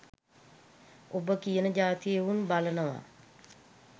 උඹ කියන ජාතියෙ එවුන් බලනව